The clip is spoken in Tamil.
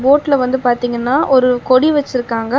போட்ல வந்து பாத்தீங்னா ஒரு கொடி வெச்சுருக்காங்க.